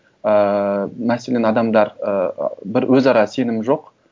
ыыы мәселен адамдар і бір өзара сенім жоқ